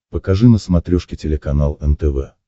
покажи на смотрешке телеканал нтв